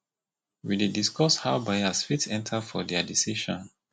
we dey discuss how bias fit enta for their decision